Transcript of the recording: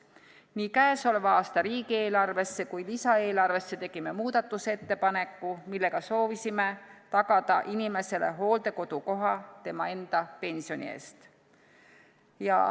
Nii käesoleva aasta riigieelarvesse kui lisaeelarvesse tegime muudatusettepaneku, millega soovisime tagada inimesele hooldekodukoha tema enda pensioni eest.